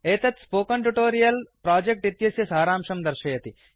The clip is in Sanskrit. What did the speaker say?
एतत् स्पोकन ट्युटोरियल प्रोजेक्ट इत्यस्य सारांशं दर्शयति